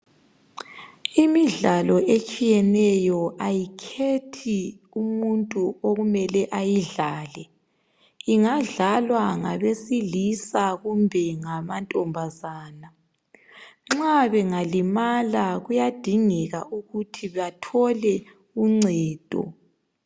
Imidlalo etshiyeneyo, kayikhethi umuntu okumele ayidlale. Ingadlalwa ngabesilisa kumbe amantombazana. Nxa bengalimala, kuyadingeka ukuthi bathole uncedo.